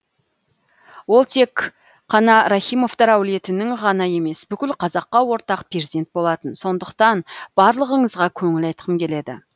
ол тек қана рахимовтар әулетінің ғана емес бүкіл қазаққа ортақ перзент болатын сондықтан барлығыңызға көңіл айтқым келеді